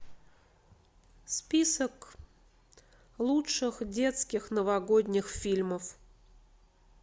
список лучших детских новогодних фильмов